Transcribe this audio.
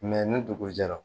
ni dugu jɛra